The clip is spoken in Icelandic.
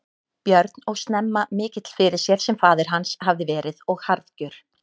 Björn og snemma mikill fyrir sér sem faðir hans hafði verið og harðgjör.